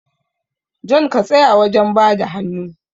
John ya tsaya wajen bada hannu